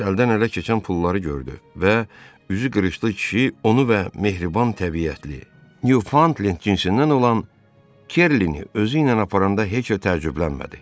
Bak əldən ələ keçən pulları gördü və üzü qırışlı kişi onu və mehriban təbiətli, Nyufantlend cinsindən olan Kerlini özü ilə aparanda heç təəccüblənmədi.